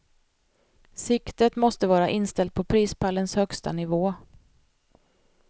Siktet måste vara inställt på prispallens högsta nivå.